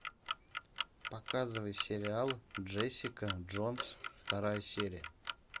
показывай сериал джессика джонс вторая серия